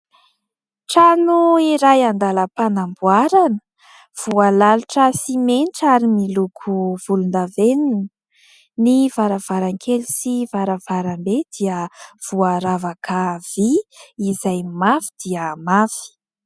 Trano iray andalam-panamboarana voalalotra simenitra ary miloko volondavenina. Ny varavarankely sy varavarambe dia voaravaka vy izay mafy dia mafy.